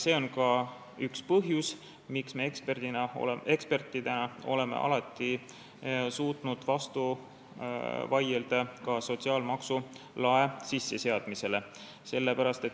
See on ka üks põhjusi, miks me ekspertidena oleme alati suutnud vastu vaielda sotsiaalmaksu lae sisseseadmisele.